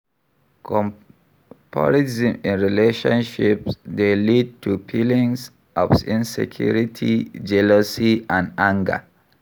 Comparison in relationships dey lead to feelings of insecurity, jealousy and anger.